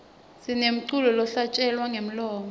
sinemculo lohlatjelelwa ngemlomo